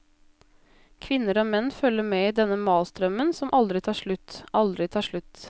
Kvinner og menn følger med i denne malstrømmen, som aldri tar slutt, aldri tar slutt.